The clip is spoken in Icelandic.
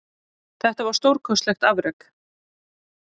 Þetta var stórkostlegt afrek